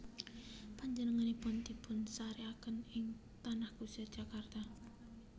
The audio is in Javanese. Panjenenganipun dipunsarèkaken ing Tanah Kusir Jakarta